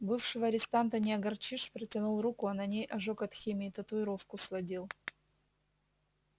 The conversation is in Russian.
бывшего арестанта не огорчишь протянул руку а на ней ожог от химии татуировку сводил